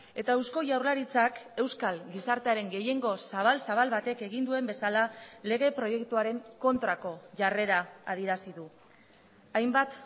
eta eusko jaurlaritzak euskal gizartearen gehiengo zabal zabal batek egin duen bezala lege proiektuaren kontrako jarrera adierazi du hainbat